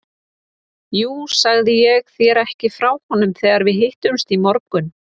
Jú, sagði ég þér ekki frá honum þegar við hittumst í morgun?